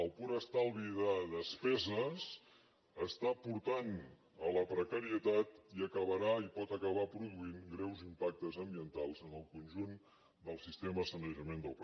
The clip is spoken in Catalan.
el pur estalvi de despeses està portant a la precarietat i acabarà i pot acabar produint greus impactes ambientals en el conjunt del sistema de sanejament del país